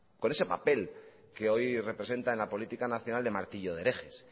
con ese papel que hoy representa en la política nacional de martillo de herejes